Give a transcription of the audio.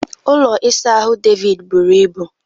Ụlọ ịsa ahụ David buru ibu